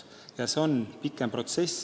Ja see on pikem protsess.